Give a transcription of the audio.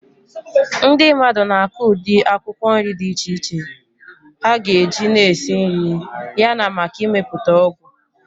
Ndị mmadụ na-akụ ụdị akwụkwọ nri dị iche iche ha ga-eji na esi nri yana maka imepụta ọgwụ.